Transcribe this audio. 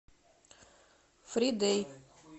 фридэй